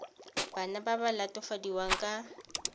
bana ba ba latofadiwang ka